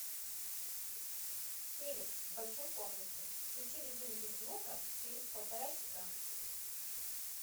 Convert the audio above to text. телик в большой комнате включи режим без звука через полтора часа